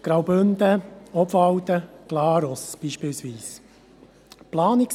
Graubünden, Obwalden oder Glarus gehören beispielsweise dazu.